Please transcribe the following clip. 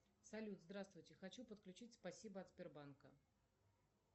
салют здравствуйте хочу подключить спасибо от сбербанка